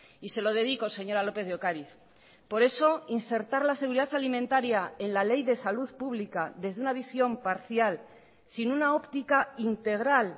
y se lo dedico señora lópez de ocariz por eso insertar la seguridad alimentaria en la ley de salud pública desde una visión parcial sin una óptica integral